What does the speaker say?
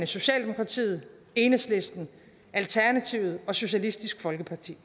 socialdemokratiet enhedslisten alternativet og socialistisk folkeparti